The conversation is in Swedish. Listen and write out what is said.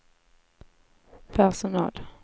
personal